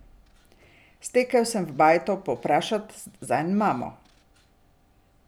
Stekel sem v bajto povprašat zanj mamo.